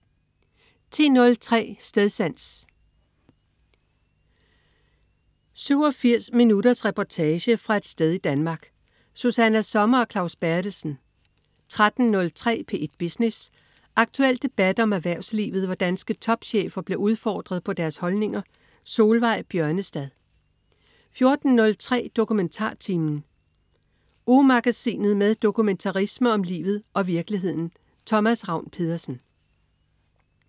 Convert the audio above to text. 10.03 Stedsans. 87 minutters reportage fra et sted i Danmark. Susanna Sommer og Claus Berthelsen 13.03 P1 Business. Aktuel debat om erhvervslivet, hvor danske topchefer bliver udfordret på deres holdninger. Solveig Bjørnestad 14.03 DokumentarTimen. Ugemagasinet med dokumentarisme om livet og virkeligheden. Thomas Ravn-Pedersen